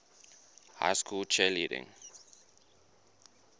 high school cheerleading